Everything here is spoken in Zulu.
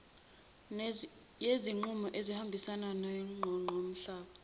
yezinqubo ebezihambisana neqoqamhlaba